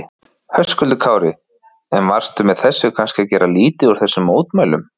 Höskuldur Kári: En varstu með þessu kannski að gera lítið úr þessum mótmælum?